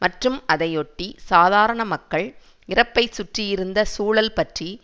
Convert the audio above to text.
மற்றும் அதையொட்டி சாதாரண மக்கள் இறப்பைச் சுற்றியிருந்த சூழல் பற்றி